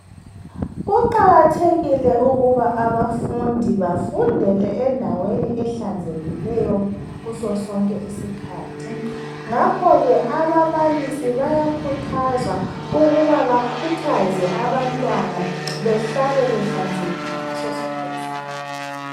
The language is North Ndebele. Kuqakathekile ukuba Abafundi bafundele endaweni ehlanzekileyo kuso sonke isikhathi, ngakho ke ababalisi bayakhuthazwa ukuba bakhuthaze abantwana behlale behlanzekile ngaso sonke isikhathi.